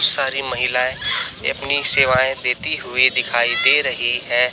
सारी महिलाएं एपनी सेवायें देती हुई दिखाई दे रहीं हैं।